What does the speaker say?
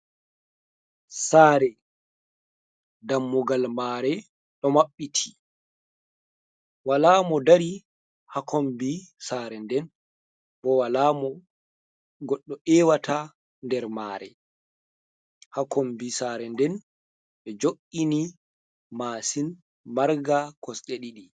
Sare dammugal mare ɗo maɓɓiti, wala mo dari hakombi Sare nde, bo wala mo goɗɗo ewata nder mare. Hakombi Sare nde, be jo’ini masin marga kosɗe ɗiɗi.